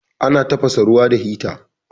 Ana tafasa ruwa da hita.